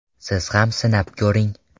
Siz ham sinab ko‘ring.